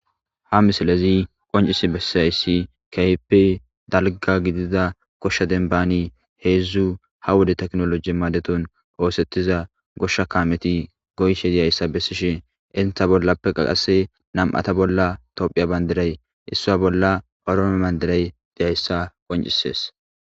ha misilezi qoncisi bessiyayssi keyppe dalga gidida koshsha denbani heedzdzu ha wode teknoloji maadetun oosettiza goshsha kaameti goysshe deyayssa bessishen inta bollappe qaqase nam7ata bolla tophiya bandiray issaa bolla oroome bandiray deyayssa qoncisees